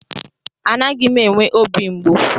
Anaghị m enwe obi mgbu.